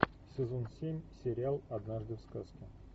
сезон семь сериал однажды в сказке